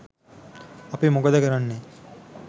අපි මොකද කරන්නේ?